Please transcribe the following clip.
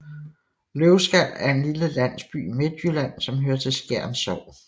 Løvskal er en lille landsby i Midtjylland som hører til Skjern Sogn